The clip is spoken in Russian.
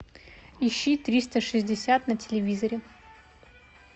ищи триста шестьдесят на телевизоре